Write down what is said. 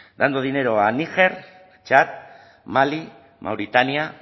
dando dinero a niger chad mali mauritania